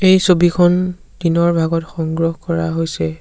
এই ছবিখন দিনৰ ভাগত সংগ্ৰহ কৰা হৈছে।